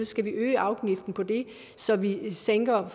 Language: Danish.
skal vi øge afgiften på det så vi sænker